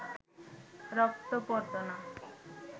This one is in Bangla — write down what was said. রক্ত পড়ত না